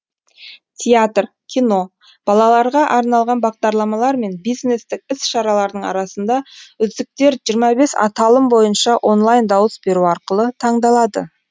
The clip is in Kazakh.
театр кино балаларға арналған бағдарламалар мен бизнестік іс шаралардың арасында үздіктер жиырма бес аталым бойынша онлайн дауыс беру арқылы таңдалады